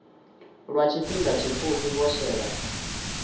lwa tshifhinga tshipfufhi vho shela